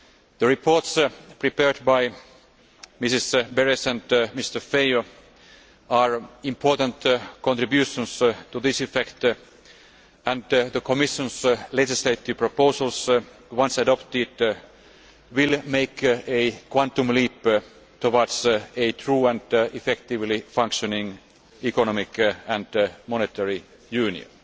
The reports prepared by Mrs Berès and Mr Feio are important contributions to this effect, and the Commission's legislative proposals, once adopted, will make a quantum leap towards a true and effectively functioning economic and monetary union.